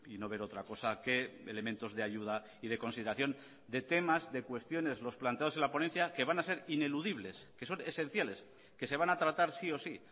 no ver otra cosa que elementos de ayuda y de consideración de temas de cuestiones los planteados en la ponencia que van a ser ineludibles que son esenciales que se van a tratar sí o sí